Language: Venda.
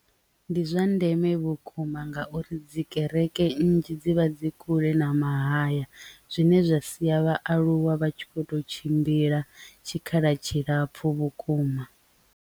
Ndi zwa ndeme vhukuma ngauri dzi kereke nnzhi dzivha dzi kule na mahaya zwine zwa sia vhaaluwa vha tshi kho to tshimbila tshikhala tshilapfu vhukuma.